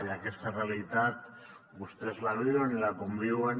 i aquesta realitat vostès la viuen i la conviuen